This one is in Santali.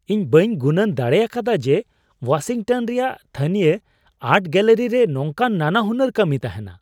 ᱤᱧ ᱵᱟᱹᱧ ᱜᱩᱱᱟᱹᱱ ᱫᱟᱲᱮ ᱟᱠᱟᱫᱟ ᱡᱮ ᱳᱣᱟᱥᱤᱝᱴᱚᱱ ᱨᱮᱭᱟᱜ ᱛᱷᱟᱹᱱᱤᱭᱚ ᱟᱨᱴ ᱜᱮᱞᱟᱨᱤ ᱨᱮ ᱱᱚᱝᱠᱟᱱ ᱱᱟᱱᱟᱦᱩᱱᱟᱹᱨ ᱠᱟᱹᱢᱤ ᱛᱟᱦᱮᱱᱟ ᱾